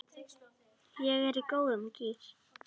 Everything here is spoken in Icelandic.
Ég er í góðum gír.